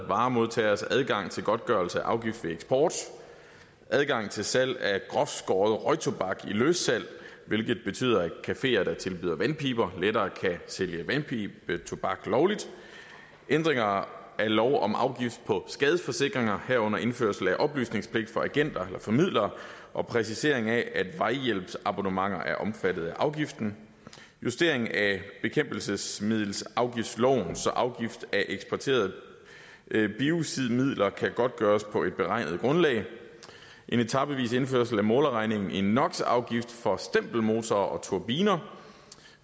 varemodtageres adgang til godtgørelse af afgift ved eksport adgang til salg af groftskåret røgtobak i løssalg hvilket betyder at cafeer der tilbyder vandpiber lettere kan sælge vandpibetobak lovligt ændringer af lov om afgift på skadesforsikringer herunder indførelse af oplysningspligt for agenter eller formidlere og præcisering af at vejhjælpsabonnementer er omfattet af afgiften justering af bekæmpelsesmiddelafgiftsloven så afgift af eksporterede biocidmidler kan godtgøres på et beregnet grundlag en etapevis indførelse af målerreglen i nox afgift for stempelmotorer og turbiner